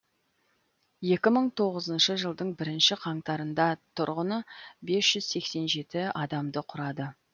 екі мың тоғызыншы жылдың бірінші қаңтарында тұрғыны бес жүз сексен жеті адамды құрады